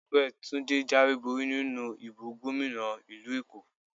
Ẹgbẹ́ Túndé jáwé borí nínú ìbò gómìnà ìlú Èkó.